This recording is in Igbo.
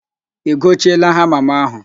I gochieela hama m ahụ?